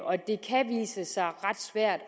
og det kan vise sig ret svært